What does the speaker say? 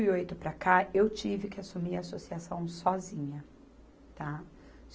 e oito para cá, eu tive que assumir a associação sozinha, tá?